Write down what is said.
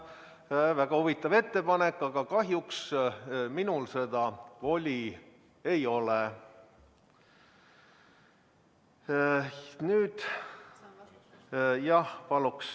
See on väga huvitav ettepanek, aga kahjuks minul seda voli ei ole.